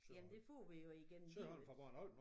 Jamen det får vi jo igennem livet